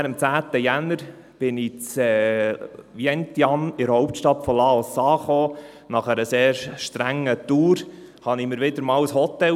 Am 10. Januar kam ich in Vientiane, der Hauptstadt von Laos, an und leistete mir nach einer sehr strengen Tour wieder einmal ein Hotel.